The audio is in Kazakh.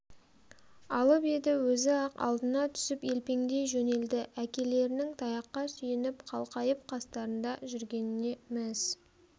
алып еді өзі-ақ алдына түсіп елпеңдей жөнелді әкелерінің таяққа сүйеніп қалқайып қастарында жүргеніне мәз